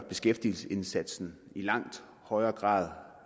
beskæftigelsesindsatsen i langt højere grad